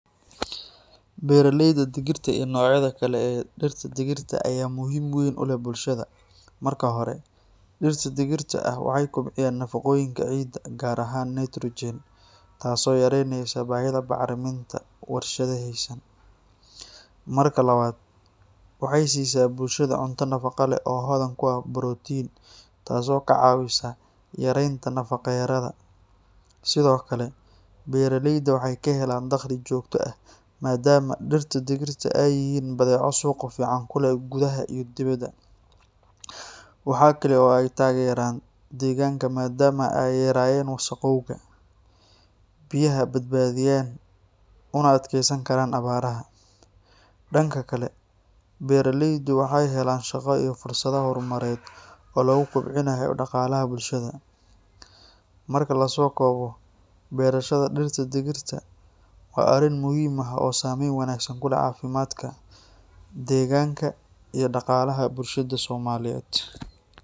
Beeraleyda digirta iyo noocyada kale ee dhirta digirta ah ayaa muhiimad weyn u leh bulshada. Marka hore, dhirta digirta ah waxay kobciyaan nafaqooyinka ciidda, gaar ahaan nitrogen, taasoo yareyneysa baahida bacriminta warshadaysan. Marka labaad, waxay siisaa bulshada cunto nafaqo leh oo hodan ku ah borotiin, taasoo ka caawisa yaraynta nafaqo-darrada. Sidoo kale, beeraleyda waxay ka helaan dakhli joogto ah maadaama dhirta digirta ah ay yihiin badeeco suuqa fiican ku leh gudaha iyo dibadda. Waxa kale oo ay taageeraan deegaanka maadaama ay yareeyaan wasakhowga, biyaha badbaadiyaan, una adkaysan karaan abaaraha. Dhanka kale, beeraleydu waxay helaan shaqo iyo fursado horumarineed oo lagu kobcinayo dhaqaalaha bulshada. Marka la soo koobo, beerashada dhirta digirta ah waa arrin muhiim ah oo saameyn wanaagsan ku leh caafimaadka, deegaanka, iyo dhaqaalaha bulshada Soomaaliyeed.